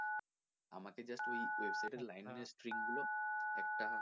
আমাকে just ওই website এর string গুলো একটা,